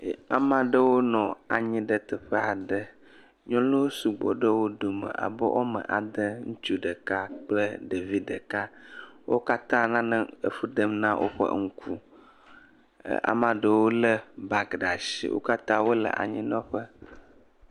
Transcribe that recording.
Ame aɖewo nɔ anyi ɖe teƒe aɖe, nyɔnuwo sugbɔ ɖe wo dome abe woame ade, ŋutsu ɖeka kple ɖevi ɖeka. Wo kata nane fu ɖem na woƒe ŋku, kea me aɖewo le black ɖe asi. Wo kata wole anyi nɔ ƒe.